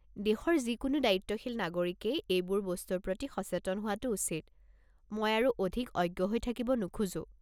দেশৰ যিকোনো দায়িত্বশীল নাগৰিকেই এইবোৰ বস্তুৰ প্ৰতি সচেতন হোৱাটো উচিত, মই আৰু অধিক অজ্ঞ হৈ থাকিব নোখোজো।